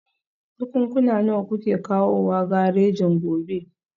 Jakunkuna nawa kuke kawowa garejin gobe?